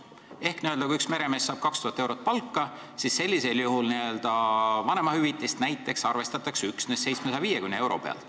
Ehk kui üks meremees saab 2000 eurot palka, siis arvestatakse näiteks vanemahüvitist üksnes 750 euro pealt.